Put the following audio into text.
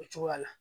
O cogoya la